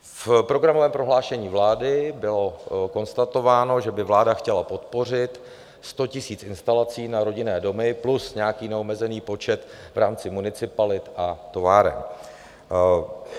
V programovém prohlášení vlády bylo konstatováno, že by vláda chtěla podpořit 100 000 instalací na rodinné domy plus nějaký neomezený počet v rámci municipalit a továren.